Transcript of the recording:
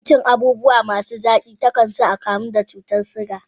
Yawan cin abubuwa masu zaki, ta kan sa a kamu da cutar shuga.